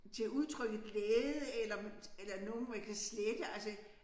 Til at udtrykke glæde eller eller nogen man kan slette altså